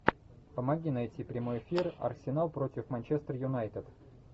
помоги найти прямой эфир арсенал против манчестер юнайтед